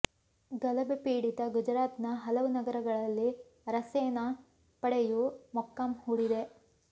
ಗಲಭೆ ಪೀಡಿತ ಗುಜರಾತ್ನ ಹಲವು ನಗರಗಳಲ್ಲಿ ಅರಸೇನಾ ಪಡೆಯೂ ಮೊಕ್ಕಾಂ ಹೂಡಿದೆ